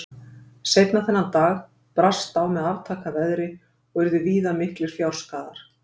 seinna þennan dag brast á með aftaka veðri og urðu víða miklir fjárskaðar